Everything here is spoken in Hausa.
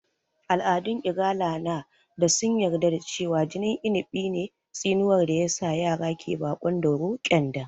Al'adun Igala na da sun yarda da cewa jinin Inigɓi ne tsinuwar da ya sa yara ke baƙon dauro (ƙyanda)